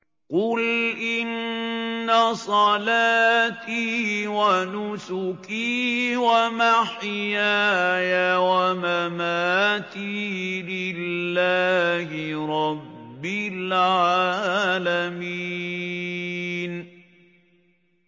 قُلْ إِنَّ صَلَاتِي وَنُسُكِي وَمَحْيَايَ وَمَمَاتِي لِلَّهِ رَبِّ الْعَالَمِينَ